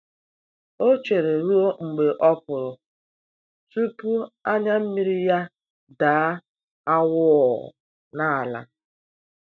O chere ruo mgbe ọpụrụ tupu anya mmiri ya daa awụọ n'ala.